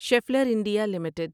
Scheffler India limited